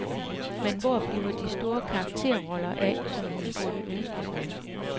Men hvor bliver de store karakterroller af, som hun burde ønske sig?